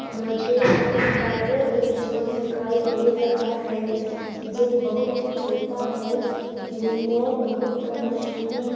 मुझे यहां पर एक जिम दिखाई दे रहा है जिम बहुत ही छोटा है जिम में बहुत कम मशीने--।